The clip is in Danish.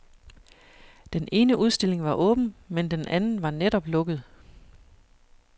Den ene udstilling var åben, men den anden var netop lukket.